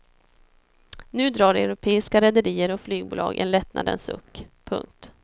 Nu drar europeiska rederier och flygbolag en lättnadens suck. punkt